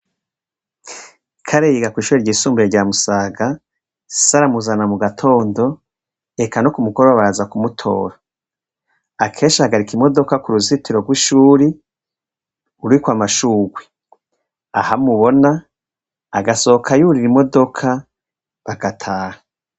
kare yiga ku ishuri ry' isumbuye ryamusaga saramuzana mu gatondo eka no kumukoroba baza kumutora akesha agarika imodoka ku ruzitiro rw'ishuri urikwa amashugwi ahamubona agasohoka yurira imodoka bagataha